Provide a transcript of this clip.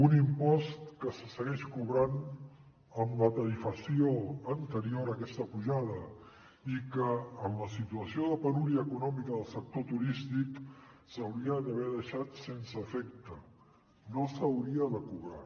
un impost que se segueix cobrant amb la tarifació anterior a aquesta pujada i que en la situació de penúria econòmica del sector turístic s’hauria d’haver deixat sense efecte no s’hauria de cobrar